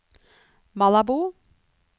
Malabo